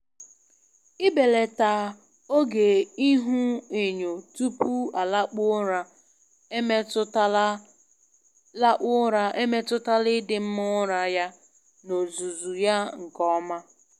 Ibelata oge ihuenyo tupu ọ lakpuo ụra emetụtala lakpuo ụra emetụtala ịdị mma ụra ya n'ozuzu ya nke ọma.